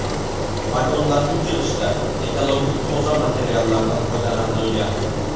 Vagonlarni yig‘ishda ekologik toza materiallardan foydalanilgan.